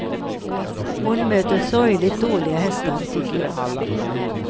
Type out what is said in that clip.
Hon möter sorgligt dåliga hästar, tycker jag.